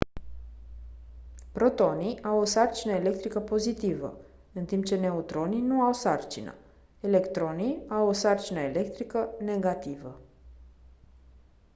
protonii au o sarcină electrică pozitivă în timp ce neutronii nu au sarcină electronii au o sarcină electrică negativă